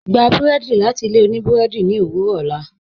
Gbà bùrẹ́dì láti ilẹ̀ ọ̀nì bùrẹ́dì ni owurọ̀ ọlá